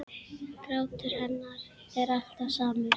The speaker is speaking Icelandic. Grátur hennar er alltaf samur.